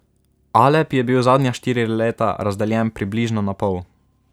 Alep je bil zadnja štiri leta razdeljen približno na pol.